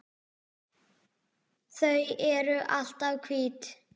Þau eru alltaf hvít.